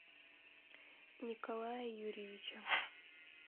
николая юрьевича